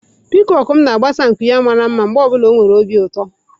Piikoku m na-agbasa nku ya mara mma mgbe ọ bụla ọ nwere obi ụtọ.